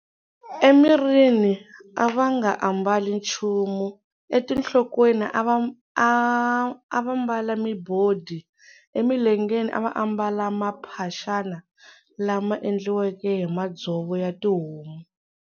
Emirini a va nga ambali nchumu, etinhlokweni a va ambala mibodi, Emilengeni a va ambala mamphaxana lama endliweke hi madzovo ya tihomu.